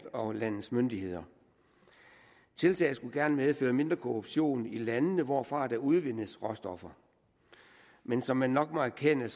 og landets myndigheder tiltaget skulle gerne medføre mindre korruption i landene hvorfra der udvindes råstoffer men som man nok må erkende er